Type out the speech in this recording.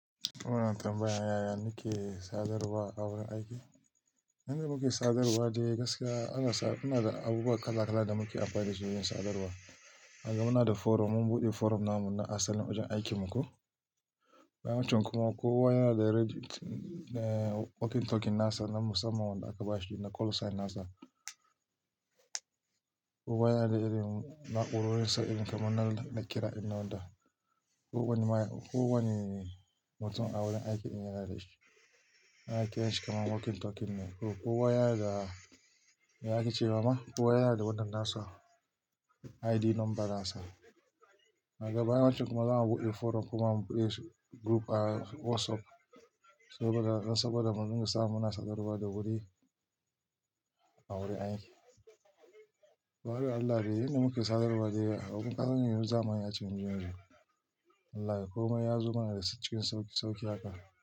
Wannan tambayan yaya muke sadarwa a wurin aiki. Inda muke sadarwa dai gaskiya an gasa muna da abubuwa kala kala da muke amfani dashi wajen sadarwa. Naga muna da forum, mun buɗe forum namu na asalin wajen aikin mu ko. Bayan wancan kuma kowa yana da walkie talkie nasa na musamman wanda aka bashi da call sign nasa. Kowa yana da irin na'urorin sadarwa kamar na ɗakira in own da. Kowane mutum a wurin aiki yana da shi. Na'urar yanshin kuma walkie talkie ne. Kowa yana da, me ake ce wa ma? Kowa yana da wadannan ID number nasa. Bayan wancan kuma za mu buɗe forum kuma mu buɗe group a WhatsApp saboda mu dinga sa muna sadarwa da wuri a wurin aiki. Ka waye Allah dai inda muke sadarwa dai, abun ƙazanta ne wurin zamani a cikin cikin yanzu. Allah kai komai yazo mana da cikin sauki sauki haka.